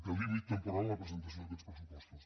de límit temporal en la presentació d’aquests pressupostos